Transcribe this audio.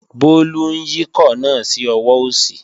Bólú ń yíkọ̀ náà sí ọwọ́ òsì